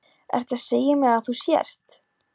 Ertu að segja mér að þú sért.